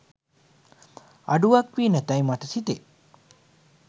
අඩුවක් වී නැතැයි මට සිතේ.